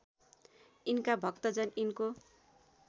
यिनका भक्तजन यिनको